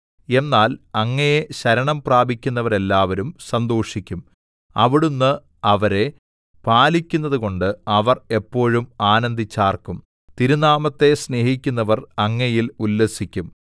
എന്നാൽ അങ്ങയെ ശരണംപ്രാപിക്കുന്നവരെല്ലാവരും സന്തോഷിക്കും അവിടുന്ന് അവരെ പാലിക്കുന്നതുകൊണ്ട് അവർ എപ്പോഴും ആനന്ദിച്ചാർക്കും തിരുനാമത്തെ സ്നേഹിക്കുന്നവർ അങ്ങയിൽ ഉല്ലസിക്കും